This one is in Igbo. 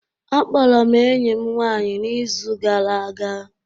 Akpọrọ m enyi m nwanyị n'izu gara aga